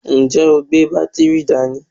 Ǹjẹ́ o gbé máa bátìrì dání?